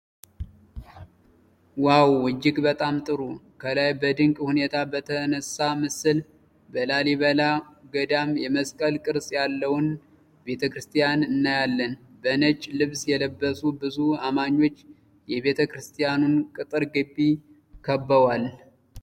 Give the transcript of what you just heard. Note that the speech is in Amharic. ዋው! እጅግ በጣም ጥሩ! ከላይ በድንቅ ሁኔታ በተነሳ ምስል፣ በላሊበላ ገዳም የመስቀል ቅርጽ ያለውን ቤተ-ክርስትያን እናያለን። በነጭ ልብስ የለበሱ ብዙ አማኞች የቤተ-ክርስትያኑን ቅጥር ግቢ ከበዋል።